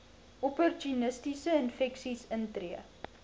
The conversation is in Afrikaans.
opportunistiese infeksies intree